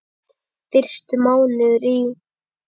Fyrstu mánuðir í